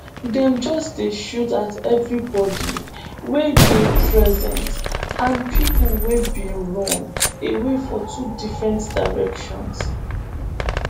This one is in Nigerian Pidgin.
dem just dey shoot at evribodi wey dey present and pipo wey bin run away for two different directions